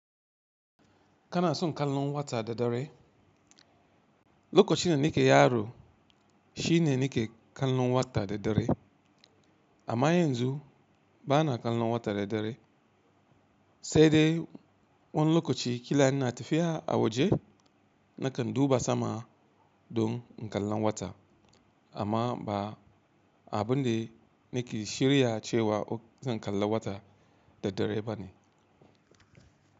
Kana son kallon wata da dare? Lokacin da nike yaro shine nike kallon wata da dare. Amma yanzu bana kallon wata da dare, sai dai wani lokaci kila ina tafiya a waje nakan duba sama don kallon wata amma ba abin da nike shirya cewa zan kalla wata da dare bane.